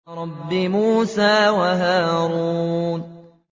رَبِّ مُوسَىٰ وَهَارُونَ